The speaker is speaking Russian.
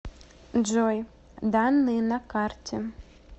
джой данные на карте